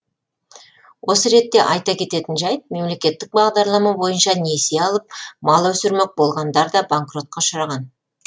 осы ретте айта кететін жайт мемлекеттік бағдарлама бойынша несие алып мал өсірмек болғандар да банкротқа ұшыраған